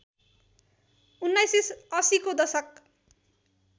१९८० को दशक